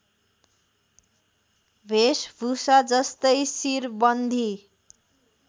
भेषभुषा जस्तै शिरबन्दी